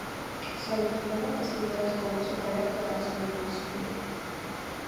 салют когда последний раз голубцов олег катался на велосипеде